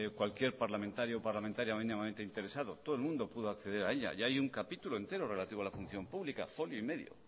cualquier parlamentario o parlamentaria mínimamente interesado todo el mundo pudo acceder a ella y hay un capítulo entero relativo a la función pública folio y medio